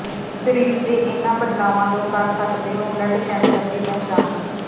ਸਰੀਰ ਦੇ ਇਨ੍ਹਾਂ ਬਦਲਾਵਾਂ ਤੋਂ ਕਰ ਸਕਦੇ ਹੋ ਬਲਡ ਕੈਂਸਰ ਦੀ ਪਹਿਚਾਣ